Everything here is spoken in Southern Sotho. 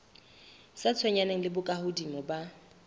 sa tshwenyaneng le bokahodimo ba